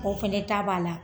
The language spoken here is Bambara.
O fɛnɛ ta b'a la.